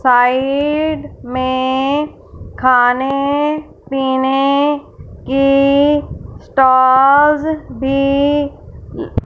side में खाने पीने की स्टाल्स भी--